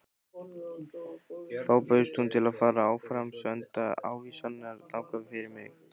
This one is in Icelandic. Þá bauðst hún til að áframsenda ávísanirnar þangað fyrir mig.